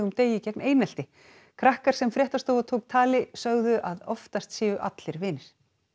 degi gegn einelti krakkar sem fréttastofa tók tali sögðu að oftast séu allir vinir